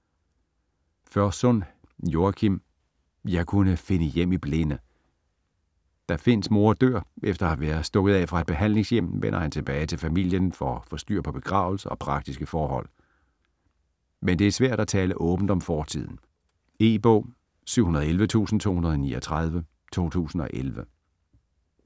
Førsund, Joachim: Jeg kunne finde hjem i blinde Da Finns mor dør efter at være stukket af fra et behandlingshjem, vender han tilbage til familien for at få styr på begravelse og praktiske forhold. Men det er svært at tale åbent om fortiden. E-bog 711239 2011.